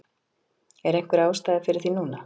Er einhver ástæða fyrir því núna?